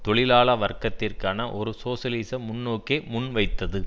தொழிலாள வர்க்கத்திற்கான ஒரு சோசியலிச முன்னோக்கை முன்வைத்தது